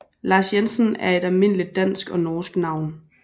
Lars Jensen er et almindeligt dansk og norsk navn